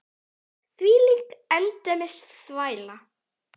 Þvílík endemis þvæla.